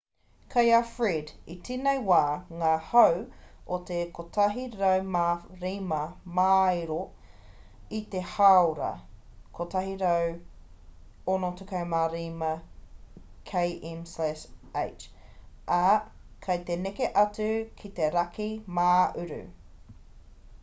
kei a fred i tēnei wā ngā hau o te 105 māero i te hāora 165 km/h ā kei te neke atu ki te raki mā-uru